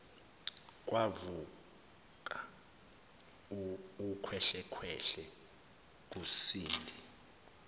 kwavuka ukhwehlekhwehle kusindi